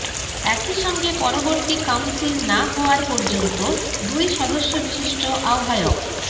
একইসঙ্গে পরবর্তী কাউন্সিল না হওয়ার পর্যন্ত দুই সদস্য বিশিষ্ট আহ্বায়ক